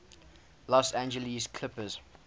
los angeles clippers